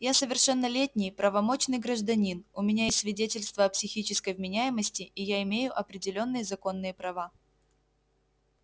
я совершеннолетний правомочный гражданин у меня есть свидетельство о психической вменяемости и я имею определённые законные права